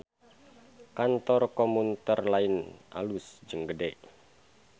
Kantor Communter Line alus jeung gede